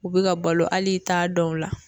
U bɛ ka balo hali i t'a dɔn o la